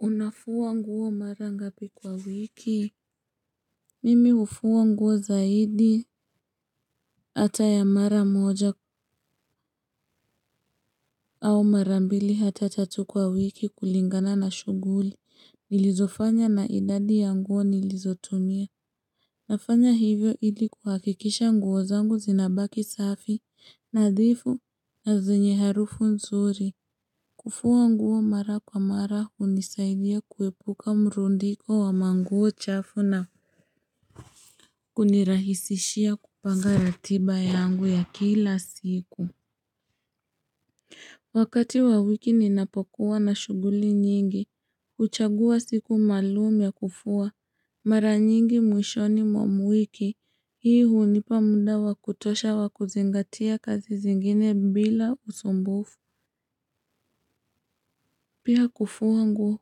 Unafuwa nguo mara ngapi kwa wiki. Mimi ufuwa nguo zaidi hata ya mara moja au marambili hata tatu kwa wiki kulingana na shuguli nilizo fanya na idadi ya nguo nilizotumia. Nafanya hivyo hili kuhakikisha nguo zangu zinabaki safi nadhifu na zenye harufu nzuri. Kufuwa nguo mara kwa mara unisaidia kuepuka mrundiko wa manguo chafu na kunirahisishia kupanga ratiba yangu ya kila siku. Wakati wa wiki ninapokuwa na shuguli nyingi uchagua siku malum ya kufua. Mara nyingi mwishoni mwa muiki. Hii hunipa munda wa kutosha wa kuzingatia kazi zingine bila usumbufu. Pia kufua nguo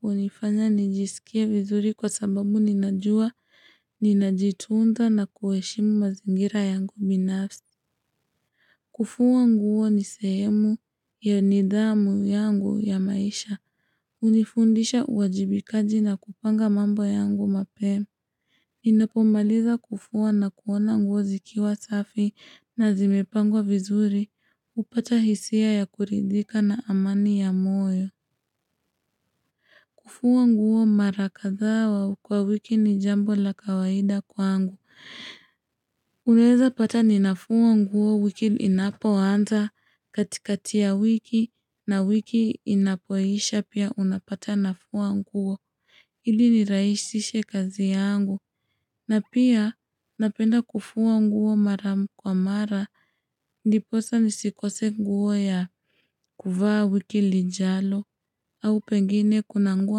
hunifanya nijisikie vizuri kwa sababu ninajua ninajituunda na kueshimu mazingira yangu binafsi. Kufuwa nguo ni sehemu ya nidhamu yangu ya maisha. Unifundisha uwajibikaji na kupanga mambo yangu mapema. Ninapomaliza kufuwa nakuona nguo zikiwa safi na zimepangwa vizuri upata hisia ya kuridhika na amani ya moyo. Kufuwa nguo mara kadha kwa wiki ni jambo la kawaida kwa angu. Uneza pata ninafuwa nguo wiki inapoanza katikati ya wiki na wiki inapoisha pia unapata nafuwa nguo. Ili niraishishe kazi yangu. Na pia napenda kufuwa nguo mara kwa mara. Ndiposa nisikose nguwo ya kuvaa wiki lijalo. Au pengine kuna nguwo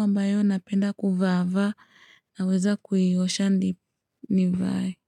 ambayo napenda kuvaava naweza kuhiyosha ndi nivaye.